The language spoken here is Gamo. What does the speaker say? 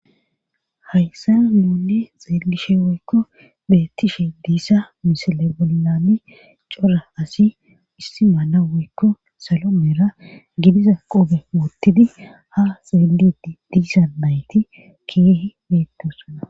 Hayssa nuunne xeegishe woykko bettishe diissa misile bollami cora asi issi maana woykko salo meera gidiza qobe wottidi ha xeedidi diisa nayti keehe beettosuna.